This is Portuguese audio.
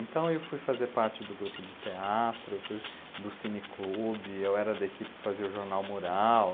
Então eu fui fazer parte do grupo de teatro, do cine-clube, eu era da equipe que fazia o Jornal Mural.